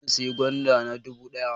Zamu sayi gwanda na dubu ɗaya